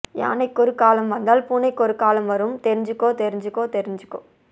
யானைக்கொரு காலம் வந்தால் பூனைக்கொரு காலம் வரும் தெரிஞ்சுக்கோ தெரிஞ்சுக்கோ தெரிஞ்சுக்கோ